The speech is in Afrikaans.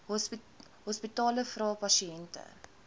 hospitale vra pasiënte